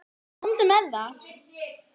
Komdu með það!